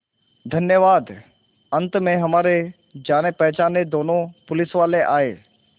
धन्यवाद अंत में हमारे जानेपहचाने दोनों पुलिसवाले आए